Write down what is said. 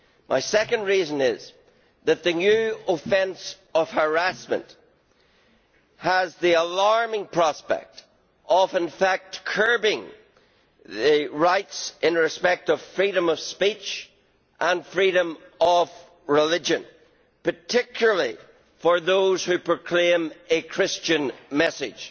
My second reason is that the new offence of harassment has the alarming prospect of, in fact, curbing the rights in respect of freedom of speech and freedom of religion, particularly for those who proclaim a Christian message.